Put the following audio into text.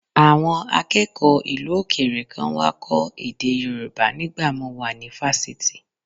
Àwọn akẹ́kọ̀ọ́ ìlú òkèèrè kan wá kọ́ èdè Yorùbá nígbà mo wà ní fásitì